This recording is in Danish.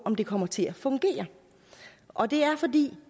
om den kommer til at fungere og det er fordi